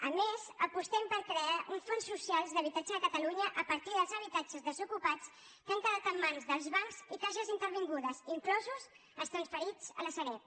a més apostem per crear un fons social d’habitatges a catalunya a partir dels habitatges desocupats que han quedat en mans dels bancs i caixes intervingudes inclosos els transferits a la sareb